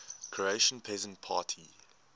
croatian peasant party